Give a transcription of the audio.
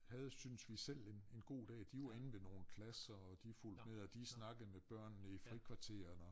Havde synes vi selv en en god dag de var inde ved nogen klasser og de fulgte med og de snakkede med børnene i frikvarteret og